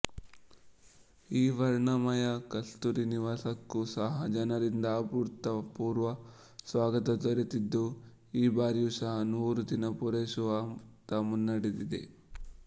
ಈ ವರ್ಣಮಯ ಕಸ್ತೂರಿನಿವಾಸಕ್ಕೂ ಸಹ ಜನರಿಂದ ಅಭೂತಪೂರ್ವ ಸ್ವಾಗತ ದೊರೆತಿದ್ದು ಈ ಬಾರಿಯೂ ಸಹ ನೂರು ದಿನ ಪೂರೈಸುವತ್ತ ಮುನ್ನಡೆದಿದೆ